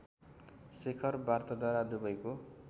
शिखर वार्ताद्वारा दुबैको